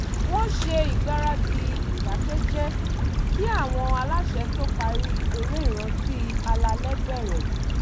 wọ́n ṣe ìgbaradì ìdákẹ́jẹ́ kí àwọn aláṣẹ tó parí eré ìrántí alálẹ̀ bẹ̀rẹ̀